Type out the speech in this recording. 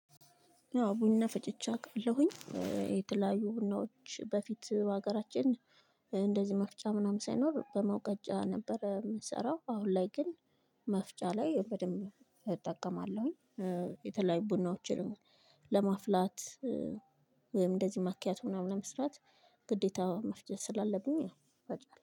ቡና ፈጭቼ አውቃለሁኝ የተለያዩ ቡናዎች በፊት በሀገራችን እንደዚህ መፍጫ ምናምን ሳይኖር በመውቀጫ ነበር የምንሰራው አሁን ላይ ግን መፍጫ ላይ በደንብ እጠቀማለሁኝ። የተለያዩ ቡናዎችንም ለማፍላት ወይም እንደዚህ ማኪያቶ ምናምን ለመስራት ግዴታ መፍጨት ስላለብኝ ያው እፈጫለሁ